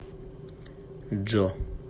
джо